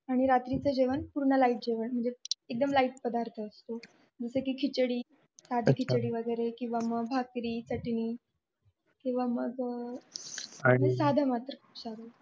आणि रात्रीच जेवण पूर्ण लाईट जेवण म्हणजे एकदम लाईट पदार्थ असतो जस कि खिचडी अच्छा साधी खिचडी वैगेरे किंवा मग भाकरी चटणी किंवा मग आणि मग साधं मात्र